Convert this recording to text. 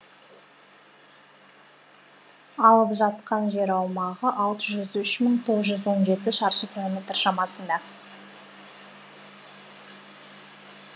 алып жатқан жер аумағы алты жүз үш мың тоғыз жүз он жеті шаршы километр шамасында